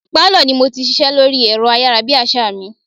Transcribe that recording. Pálọ̀ ni mo ti ṣiṣẹ́ lórí ẹ̀rọ ayára bí àsá mi.